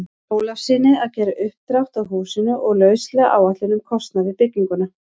Ólafssyni að gera uppdrátt að húsinu og lauslega áætlun um kostnað við bygginguna.